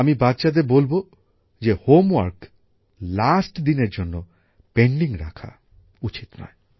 আমি বাচ্চাদের বলব যে হোমওয়ার্ক শেষ দিনের জন্য বাকি রাখা উচিত নয়